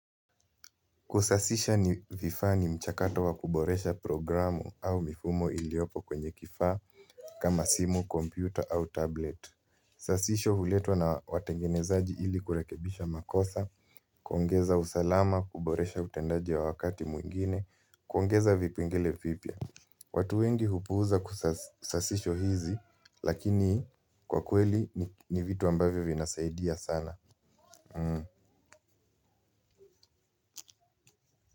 Kusasisha ni vifaa ni mchakato wa kuboresha programu au mifumo iliopo kwenye kifaa. Kama simu, kompyuta au tablet. Sasisho huletwa na watengenezaji ilikurekebisha makosa. Kuongeza usalama, kuboresha utendaji wa wakati mwingine. Kuongeza vipengele vipya. Watu wengi hupuuza sasisho hizi. Lakini, kwa kweli ni vitu ambavyo vinasaidia sana.